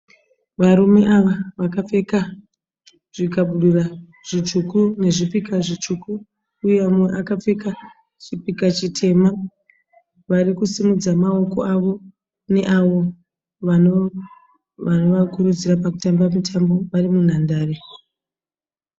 Varume ava vakapfeka zvikabudura zvitsvuku nezvipika zvitsvuku uye mumwe akapfeka chipika chitema. Vari kusimudza maoko avo neavo vanovakurudzira pakutamba mutambo vari munhandare.